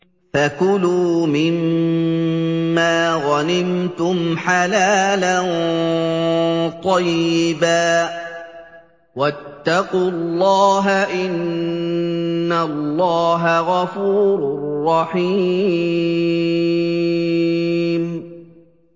فَكُلُوا مِمَّا غَنِمْتُمْ حَلَالًا طَيِّبًا ۚ وَاتَّقُوا اللَّهَ ۚ إِنَّ اللَّهَ غَفُورٌ رَّحِيمٌ